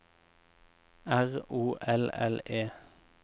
R O L L E